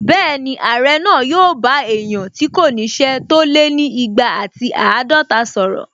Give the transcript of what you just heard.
Bẹ́ẹ̀ni, Ààrẹ náà yóò bá èèyàn tí kò ní ṣẹ́ tó lé ni igba àti àádọta sọ̀rọ̀